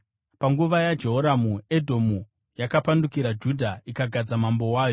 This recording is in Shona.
Panguva yaJehoramu, Edhomu yakapandukira Judha ikagadza mambo wayo.